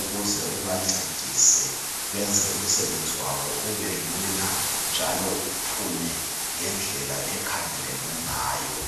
ukuze ubancedise benze umsebenzi wabo ubelula njalo uphume ngendlela ekhangelelwe ngayo